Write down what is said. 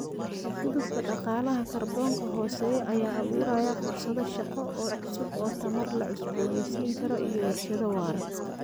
U gudubka dhaqaalaha kaarboonka hooseeya ayaa abuuraya fursado shaqo oo cusub oo tamar la cusboonaysiin karo iyo warshado waara.